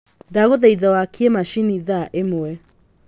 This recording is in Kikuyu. ndagũthaitha wakie macini thaa ĩmwe